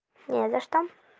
не за что